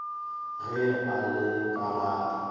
ge a le ka ga